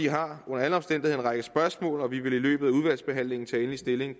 har under alle omstændigheder en række spørgsmål og vi vil i løbet af udvalgsbehandlingen tage endelig stilling